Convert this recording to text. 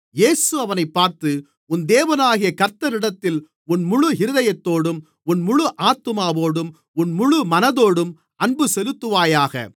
இயேசு அவனைப் பார்த்து உன் தேவனாகிய கர்த்தரிடத்தில் உன் முழு இருதயத்தோடும் உன் முழு ஆத்துமாவோடும் உன் முழு மனதோடும் அன்புசெலுத்துவாயாக